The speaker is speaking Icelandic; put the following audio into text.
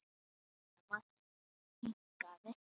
Thomas hikaði.